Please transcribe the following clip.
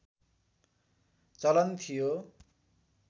चलन थियो